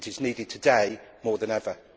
It is needed today more than ever.